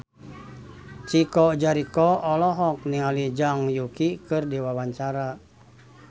Chico Jericho olohok ningali Zhang Yuqi keur diwawancara